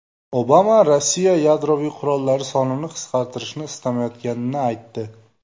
Obama Rossiya yadroviy qurollari sonini qisqartishni istamayotganini aytdi.